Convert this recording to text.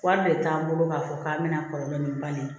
Wari de t'an bolo k'a fɔ k'an bɛna kɔlɔlɔ ni ba ye